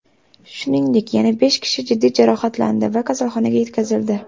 Shuningdek, yana besh kishi jiddiy jarohatlandi va kasalxonaga yetkazildi.